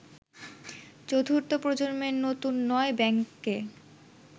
চতুর্থ প্রজম্মের নতুন ৯ ব্যাংককে